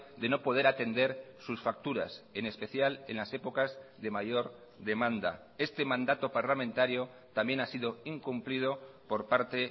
de no poder atender sus facturas en especial en las épocas de mayor demanda este mandato parlamentario también ha sido incumplido por parte